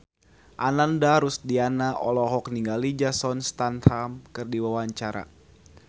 Ananda Rusdiana olohok ningali Jason Statham keur diwawancara